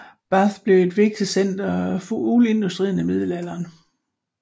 Bath blev et vigtigt center for uldindustrien i middelalderen